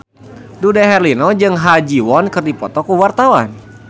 Dude Herlino jeung Ha Ji Won keur dipoto ku wartawan